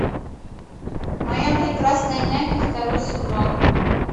моя прекрасная няня второй сезон